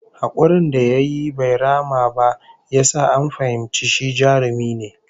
Hakurin da yayi bai rama ba ya sa an fahimci shi jarumi ne